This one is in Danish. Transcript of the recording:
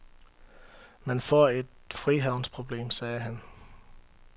Man får et frihavnsproblem, sagde han.